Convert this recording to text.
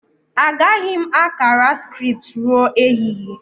Agaghị m akara scripts ruo ehihie